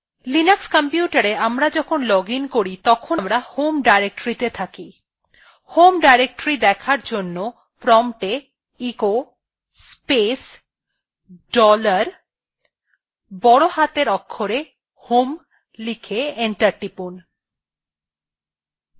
linux কম্পিউটারa আমরা যখন login করি তখন আমরা home directory তে থাকি home directory দেখার জন্য prompta echo space dollar বড় হাতের অক্ষরে home লিখে enter টিপুন